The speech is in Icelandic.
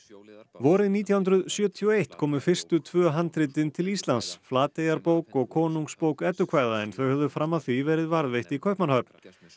vorið nítján hundruð sjötíu og eitt komu fyrstu tvö handritin til Íslands Flateyjarbók og konungsbók eddukvæða en þau höfðu fram að því verið varðveitt í Kaupmannahöfn